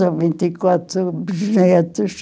Tenho vinte e quatro bisnetos.